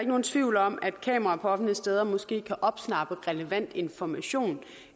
nogen tvivl om at kamera på offentlige steder måske kan opsnappe relevant information